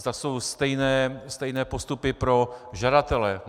Zda jsou stejné postupy pro žadatele.